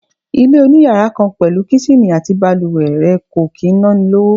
Ilé oniyàrá kan pẹ̀lú Kíṣìnì àti bàlùwẹ̀ rẹ̀ kò kì í ná ni lówó.